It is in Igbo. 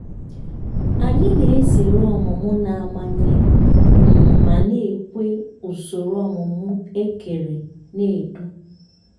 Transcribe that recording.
anyị na-ezere ọmụmụ na-amanye um ma na-ekwe usoro ọmụmụ ekere na-edue.